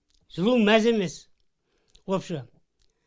жылу мәз емес вообще